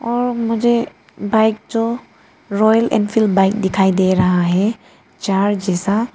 और मुझे बाइक जो रॉयल एनफील्ड बाइक दिखाई दे रहा है चार जैसा--